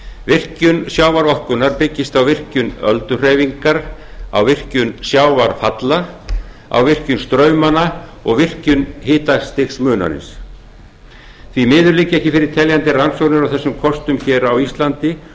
virkjun sjávarorkunnar byggist á virkjun ölduhreyfingar á virkjun sjávarfalla á virkjun straumanna og virkjun hitastigsmunarins því miður liggja ekki fyrir teljandi rannsóknir á þessum kostum hér á íslandi